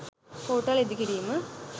hotel ඉදිකිරීම